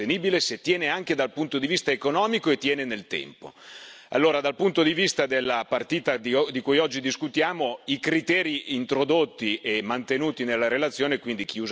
Allora, dal punto di vista della partita di cui oggi discutiamo, i criteri introdotti e mantenuti nella relazione, quindi chi usa paga e chi inquina paga, sono criteri che noi condividiamo perfettamente.